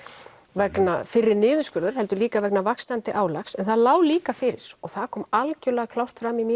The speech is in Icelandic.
vegna fyrri niðurskurða heldur líka vegna vaxandi álags það lá líka fyrir og það kom algjörlega klárt fram í